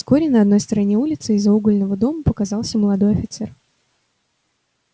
вскоре на одной стороне улицы из-за угольного дома показался молодой офицер